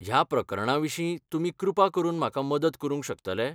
ह्या प्रकरणाविशीं तुमी कृपा करून म्हाका मदत करूंक शकतले?